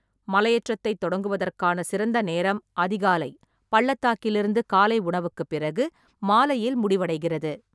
மலையேற்றத்தைத் தொடங்குவதற்கான சிறந்த நேரம் அதிகாலை, பள்ளத்தாக்கிலிருந்து காலை உணவுக்குப் பிறகு, மாலையில் முடிவடைகிறது.